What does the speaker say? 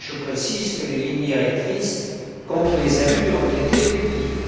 Je précise que les lignes directrices contre les abus ont été publiées.